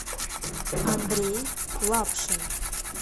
андрей лапшин